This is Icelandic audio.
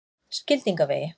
Skildingavegi